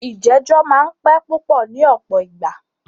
ìjẹ̀jọ́ máà ń pẹ́ púpọ ní ọ̀pọ̀ ìgbà.